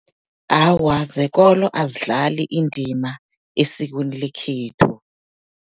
Awa zekolo, azidlali indima esikweni lekhethu.